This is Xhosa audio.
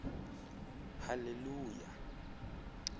haleluya